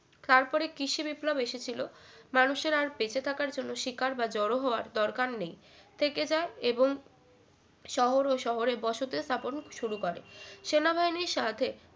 তারপরে কৃষি বিপ্লব এসেছিল মানুষের আর বেঁচে থাকার জন্য শিকার বা জড়ো হওয়ার দরকার নেই যায় এবং শহর ও শহরে বসতি স্থাপন শুরু করে সেনাবাহিনীর সাথে